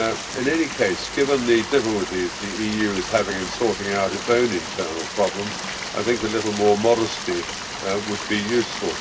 In any case, given the difficulties the EU is having in sorting out its own internal problems, I think a little more modesty would be useful.